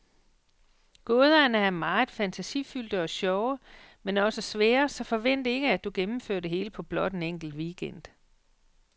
Gåderne er meget fantasifyldte og sjove, men også svære, så forvent ikke, at du gennemfører det hele på blot en enkelt weekend.